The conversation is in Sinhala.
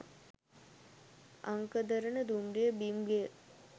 අංකදරන දුම්රිය බිම් ගෙය